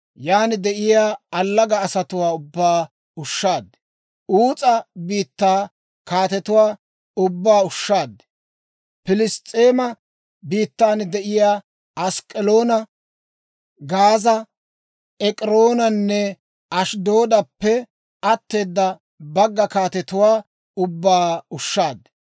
yaan de'iyaa allaga asatuwaa ubbaa ushshaad. Uus'a biittaa kaatetuwaa ubbaa ushshaad. Piliss's'eema biittan de'iyaa Ask'k'aloona, Gaaza, Ek'iroonanne Ashddoodappe atteeda bagga kaatetuwaa ubbaa ushshaad.